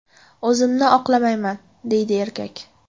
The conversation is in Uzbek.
O‘zimni oqlamayman”, deydi erkak.